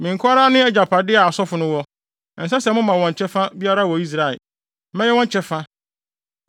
“ ‘Me nko ara ne agyapade a asɔfo no wɔ. Ɛnsɛ sɛ moma wɔn kyɛfa biara wɔ Israel. Mɛyɛ wɔn kyɛfa.